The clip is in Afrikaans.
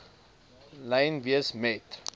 lyn wees met